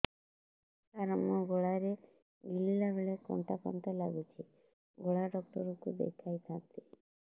ସାର ମୋ ଗଳା ରେ ଗିଳିଲା ବେଲେ କଣ୍ଟା କଣ୍ଟା ଲାଗୁଛି ଗଳା ଡକ୍ଟର କୁ ଦେଖାଇ ଥାନ୍ତି